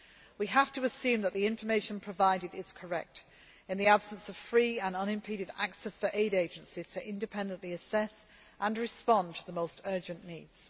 care. We have to assume that the information provided is correct, in the absence of free and unimpeded access for aid agencies to independently assess and respond to the most urgent needs.